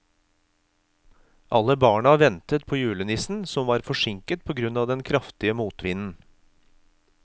Alle barna ventet på julenissen, som var forsinket på grunn av den kraftige motvinden.